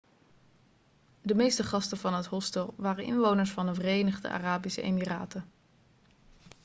de meeste gasten van het hostel waren inwoners van de verenigde arabische emiraten